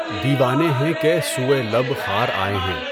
دیوانے ہیں کہ سوئے لب خار آئے ہیں